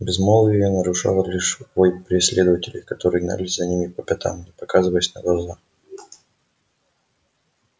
безмолвие нарушал лишь вой преследователей которые гнались за ними по пятам не показываясь на глаза